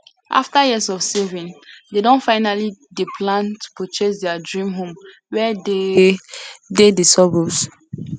after years of saving dey don finally dey plan to purchase their dream home wey dey dey de suburbs